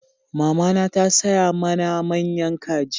Mamana ta saya mana manya kaji